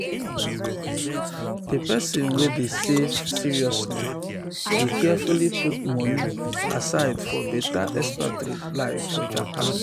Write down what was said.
di person wey dey save save seriously dey carefully put moni aside for better expatriate life for japan.